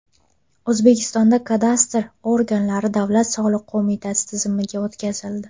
O‘zbekistonda kadastr organlari Davlat soliq qo‘mitasi tizimiga o‘tkazildi.